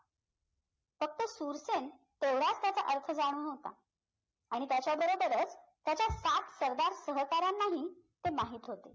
फक्त सुरसेन तेवढाच त्याचा अर्थ जाणून होता आणि त्याच्या बरोबरच त्याच्या सात सरदार सहकार्यांना ही ते माहित होते